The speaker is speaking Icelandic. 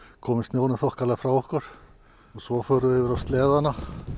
komið snjónum þokkalega frá okkur og svo förum við yfir á sleðana